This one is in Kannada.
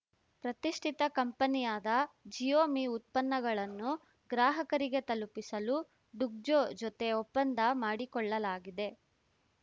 ಪ್ರತಿಷ್ಠಿತ ಕಂಪನಿಯಾದ ಜಿಯೋ ಮಿ ಉತ್ಪನ್ನಗಳನ್ನು ಗ್ರಾಹಕರಿಗೆ ತಲುಪಿಸಲು ಡುಗ್ಜೋ ಜೊತೆ ಒಪ್ಪಂದ ಮಾಡಿಕೊಳ್ಳಲಾಗಿದೆ